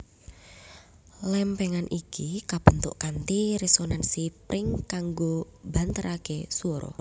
Lémpéngan iki kabentuk kanthi resonansi pring kanggo mbanteraké swara